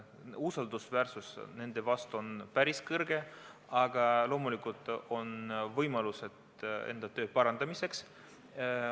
Usaldus nende vastu on päris suur, aga loomulikult on võimalusi nende tööd parandada.